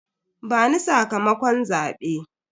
Bani sakamakon zabe.